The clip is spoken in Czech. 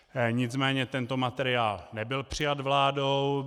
Nicméně tento materiál nebyl přijat vládou.